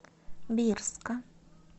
бирска